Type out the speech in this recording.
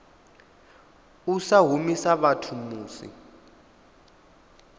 u sa humisa vhathu musi